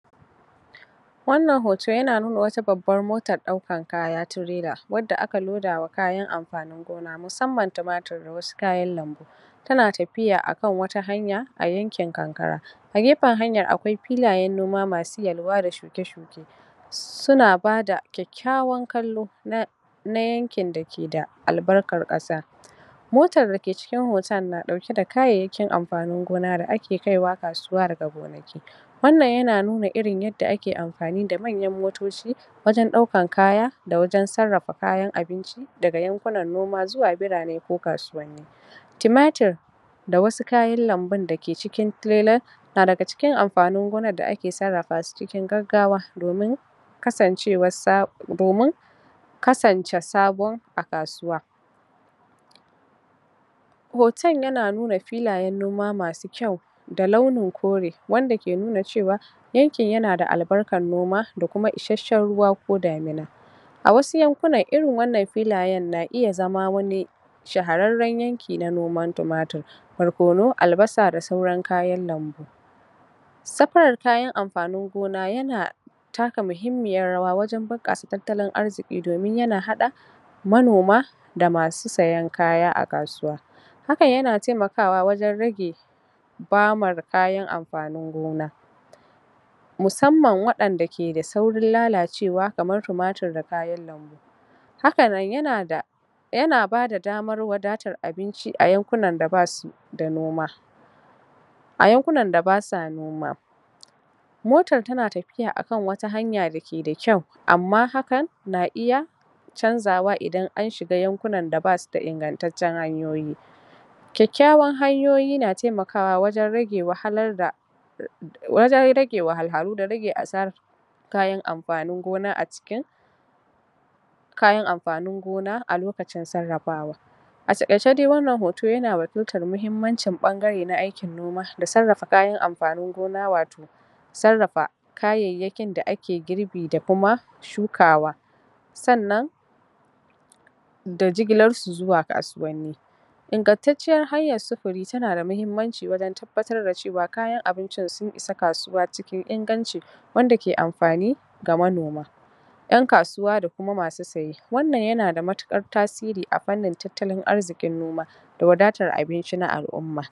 Wannan hoto yana nuna wata babbar motan ɗaukan kaya traila wadda aka loda wa kayan ampanin gona musamman tumatir da wasu kayan lambu. kayan ampanin gona musamman tumatir da wasu kayan lambu. Tana tapiya akan wata hanya a ayankin kankara a gepen hanya a gepen hanyan akwai pilayan noma masu yalwa da shuke-shuke. Suna bada ƙyaƙyawan kallo na na yankin da keda albarkar ƙasa. Motar dake cikin hotan na ɗaukeda kayayyakin ampanin gona da ake kaiwa kasuwa daga gonaki. Wannan yana nuna irin yadda ake ampani da manyan motoci wajan ɗaukan kaya da wajan sarrafa kayan abinci daga yankunan noma zuwa birane ko kasuwanni. Timatir, da wasu kayan lambun dake cikin trailan na daga cikin ampanin gonan da ake sarrapa su cikin gaggawa domin kasancewar sa domin kasance sabon a kasuwa. Hoton yana nuna filayen noma masu ƙyau da launin kore wanda ke nuna cewa yankin yana da albarkan noma da kuma isasshen ruwa ko damina, a wasu yankunan irin wannan filayen na iya zama wani shahararran yanki na noman tumatir, bark barkono, albasa da sauran kayan lambu. Sapar kayan amfanin gona yana taka muhimmiyar rawa wajan bunƙasa tattalin arziki domin yana haɗa manoma da masu sayan kaya a kasuwa, hakan yana taimakawa wajan rage bamar kayan amfanin gona. Musamman waɗanda ke da saurin lalacewa kamar tumatir da kayan lambu, hakanan yana da yana bada damar wadatar abinci a yankunan da basu da noma a yankunan da basa noma. Motar tana tapiya akan wata hanya dake da ƙyau amma hakan na iya chanzawa idan an shiga yankunan da basuda ingantaccen hanyoyi. Ƙyaƙyawar hanyoyi na taimakawa wajan rage wahalar da em wajan rage wahalhalu da rage asara kayan ampanin gona a cikin kayan ampanin gona a lokacin sarrafawa. A taƙaice dai wannan hoto yana wakiltar muhimmanci ɓangare na aikin noma da sarrafa kayan amfanin gona wato A taƙaice dai wannan hoto yana wakiltar muhimmanci ɓangare na aikin noma da sarrafa kayan amfanin gona wato sarrafa kayayyakin da ake girbi da kuma shukawa. Sannan da jigilar su zuwa kasuwanni. Ingantacciyar hanyar sufuri tana da muhimmanci wajan tabbatar da cewa kayan abincin sun isa kasuwa cikin inganci wanda ke amfani ga manoma. Ƴan kasuwa da kuma masu saye wannan yana da matuƙar tasiri a fannin tattalin arzikin noma da wadatar abinci na al'umma.